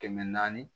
Kɛmɛ naani